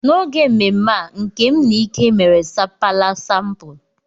N'oge mmemme a, Nkem na Ike mere sapala sampul.